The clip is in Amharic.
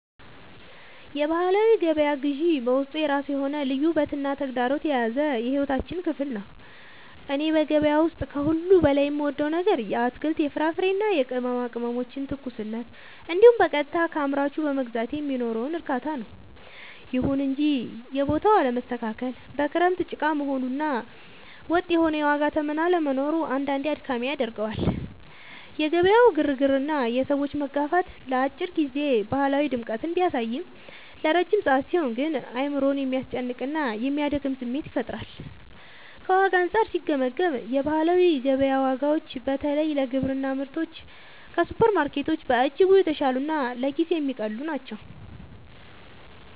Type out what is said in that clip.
የባህላዊ ገበያ ግዢ በውስጡ የራሱ የሆነ ልዩ ውበትና ተግዳሮት የያዘ የሕይወታችን ክፍል ነው። እኔ በገበያ ውስጥ ከሁሉ በላይ የምወደው ነገር የአትክልት፣ የፍራፍሬና የቅመማ ቅመሞችን ትኩስነት እንዲሁም በቀጥታ ከአምራቹ በመግዛቴ የሚኖረውን እርካታ ነው። ይሁን እንጂ የቦታው አለመስተካከል፣ በክረምት ጭቃ መሆኑ እና ወጥ የሆነ የዋጋ ተመን አለመኖሩ አንዳንዴ አድካሚ ያደርገዋል። የገበያው ግርግርና የሰዎች መጋፋት ለአጭር ጊዜ ባህላዊ ድምቀትን ቢያሳይም፣ ለረጅም ሰዓት ሲሆን ግን አእምሮን የሚያስጨንቅና የሚያደክም ስሜት ይፈጥራል። ከዋጋ አንጻር ሲገመገም፣ የባህላዊ ገበያ ዋጋዎች በተለይ ለግብርና ምርቶች ከሱፐርማርኬቶች በእጅጉ የተሻሉና ለኪስ የሚቀልሉ ናቸው።